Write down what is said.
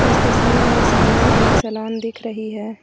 इस तस्वीर में सामने एक सलून दिख रही है।